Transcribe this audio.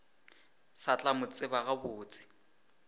sa tla mo tseba gabotse